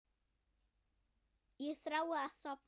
Ég þrái að sofna.